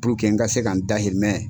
n ka se ka n dahirimɛ.